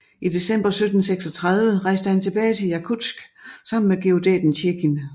I december 1736 rejste han tilbage til Jakutsk sammen med geodæten Tjekin